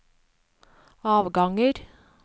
avganger